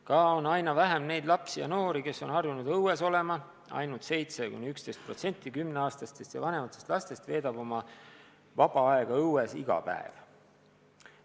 Ka on aina vähem neid lapsi ja noori, kes on harjunud õues olema: ainult 7–11% 10-aastastest ja vanematest lastest veedab oma vaba aega õues iga päev.